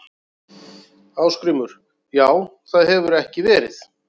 Ásgrímur: Já það hefur ekki verið?